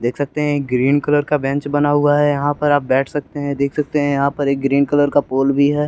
देख सकते हे ग्रीन कलर का बेंच बना हुआ हें यहा पर आप बेठ सकते हे देख सकते हे यहा पर ग्रीन कलर का पोल भी हैं।